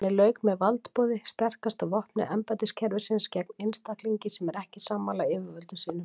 Henni lauk með valdboði sterkasta vopni embættiskerfisins gegn einstaklingi sem er ekki sammála yfirvöldum sínum.